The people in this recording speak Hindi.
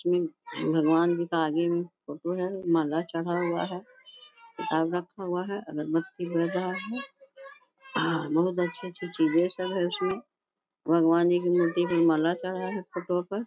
तो इन भगवान जी का आगे में फोटो है और माला चढ़ा हुआ है। आग रखा हुआ है अगरबत्ती जल रहा है। बहुत अच्छी-अच्छी चीजें सब है इसमें भगवान जी की मूर्ति पे माला चढ़ा है फोटो पर।